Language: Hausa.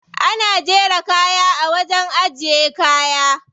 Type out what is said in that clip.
Ana jera kaya a wajen ajiye kaya.